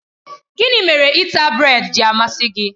Gịnị mere ịta brèd ji amasị gị?